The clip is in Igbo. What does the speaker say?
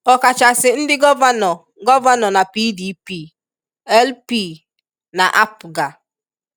ọkachasị ndị gọvanọ gọvanọ na PDP, LP, na APGA